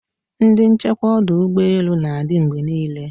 Ndi nchekwa ọdụ ụgbọ elu na-adị mgbe niile